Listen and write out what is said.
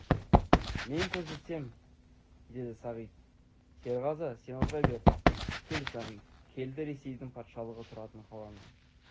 мен көрсетем деді сағит серғазы сен отыр бері кел сағит келді ресейдің патшалығы тұратын қаланың